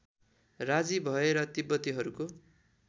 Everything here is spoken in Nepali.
राजी भए र तिब्बतीहरूको